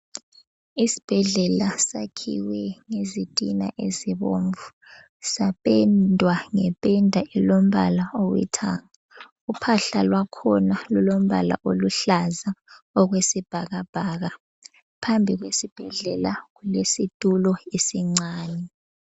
Isibhedlela sakhiwe ngezitina ezibomvu. Sapendwa ngependa elombala olithanga. Uphahla lwakhona lulombala oluhlaza okwesibhakabhaka. Phambi kwesibhedlela kulesitulo esincane.